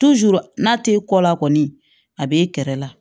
n'a t'e kɔ la kɔni a b'e kɛrɛ la